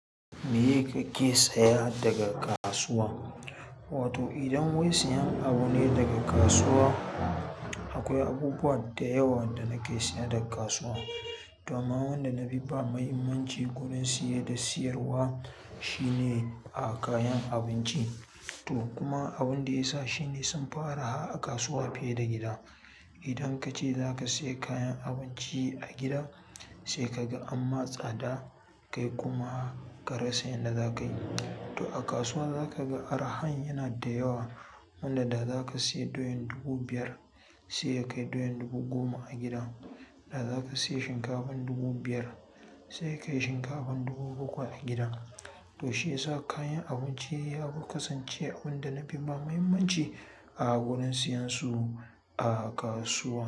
Me kake saya daga kasuwa? Wato idan wai siyan abu ne daga kasuwa, akwai abubuwa da yawa da nake siya daga kasuwa. To amma wanda na fi ba muhimmanci gurin siye da siyarwa shine a kayan abinci. To kuma abunda ya sa shine sun fi arha a kasuwa fiye da gida idan kace zaka siya kayan abinci a gida sai kaga an ma tsada, kai kuma ka rasa yanda zakai. To a kasuwa zaka ga arahan yana da yawa. Wanda da zaka siya doyan dubu biyar sai ya kai doyan dubu goma a gida. Da zaka siya shinkafa dubu biyar sai ya kai shinkafa dubu bakwai a gida. Toshe ya sa kayan abinci ya fi kasance abin da na fi ba muhimmanci a gurin siyansu a kasuwa.